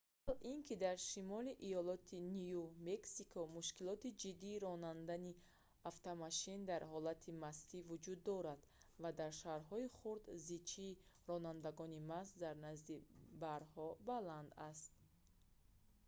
аввал ин ки дар шимоли иолоти ню мексико мушкилоти ҷиддии ронандани автомошин дар ҳолати мастӣ вуҷуд дорад ва дар шаҳрҳои хурд зичии ронандагони маст дар назди барҳо баланд аст